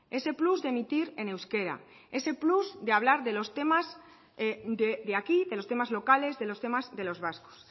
ese plus de emitir en euskera ese plus de hablar de los temas de aquí de los temas locales de los temas de los vascos